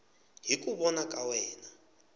hi ku vona ka wena